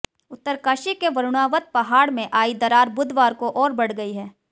उत्तरकाशी के वरुणावत पहाड़ में आई दरार बुधवार को और बढ़ गई है